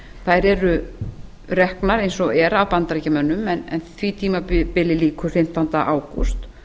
þær eru reknar eins og er af bandaríkjamönnum en því tímabili lýkur fimmtánda ágúst